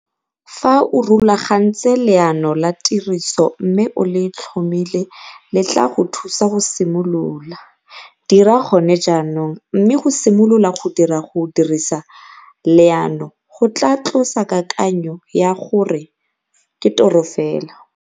Fa o rulagantse leano la tiriso mme o le tlhomile le tlaa go thusa go simolola dira gone jaanong, mme go simolola go dira go dirisa leano go tlaa tlosa kakanyo ya gore ke toro fela.